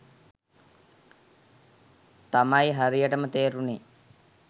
තමයි හරියටම තේරුනේ.